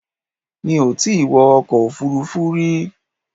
Mi ò tí wọ ọkọ̀ òfuurufú rí.